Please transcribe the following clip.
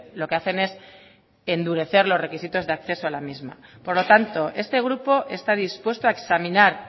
lo que hacen es endurecer los requisitos de acceso a la misma por lo tanto este grupo está dispuesto a examinar